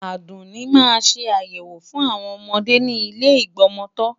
Àdùnní máa ṣe ayẹwo fún àwọn ọmọdé ni ile Ìgbọmọtọ́.